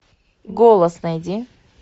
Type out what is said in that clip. голос найди